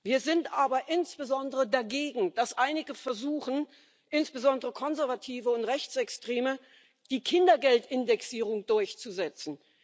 Wir sind aber insbesondere dagegen, dass einige versuchen insbesondere Konservative und Rechtsextreme die Kindergeldindexierung durchzusetzen.